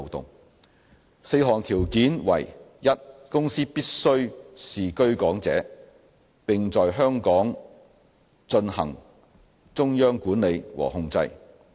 該4項條件為： a 公司必須是居港者，並在香港進行中央管理和控制。